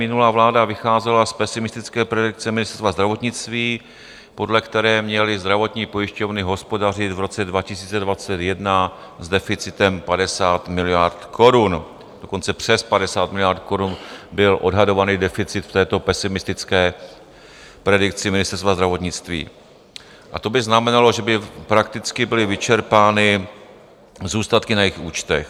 Minulá vláda vycházela z pesimistické predikce Ministerstva zdravotnictví, podle které měly zdravotní pojišťovny hospodařit v roce 2021 s deficitem 50 miliard korun, dokonce přes 50 miliard korun byl odhadovaný deficit v této pesimistické predikci Ministerstva zdravotnictví, a to by znamenalo, že by prakticky byly vyčerpány zůstatky na jejich účtech.